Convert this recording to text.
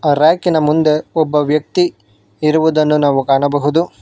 A ರ್ಯಾಕಿನ ಮುಂದೆ ಒಬ್ಬ ವ್ಯಕ್ತಿ ಇರುವುದನ್ನು ನಾವು ಕಾಣಬಹುದು.